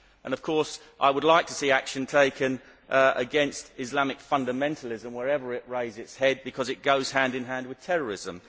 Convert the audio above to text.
Of course, I would like to see action taken against Islamic fundamentalism wherever it raises its head because it goes hand in hand with terrorism.